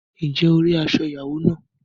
Ǹjẹ́ o rí aṣọ ìyàwó náà?